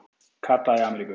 Kata í Ameríku